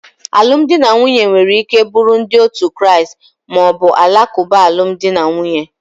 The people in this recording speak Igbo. Alụmdi na nwunye nwere ike buru ndi otu Kraist ma ọ bụ Alakuba alụmdi na nwunye.